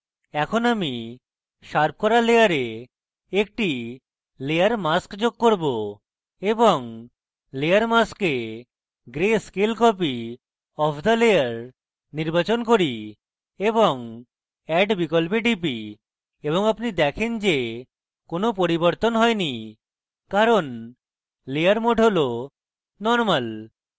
এখন আমি শার্প করা layer একটি layer mask যোগ করব এবং layer mask a gray scale copy of the layer নির্বাচন করি এবং add বিকল্পে টিপি এবং আপনি দেখেন যে কোনো পরিবরতন হয়নি কারণ layer mode has normal